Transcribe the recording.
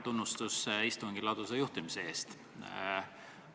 Tunnustus istungi ladusa juhtimise eest!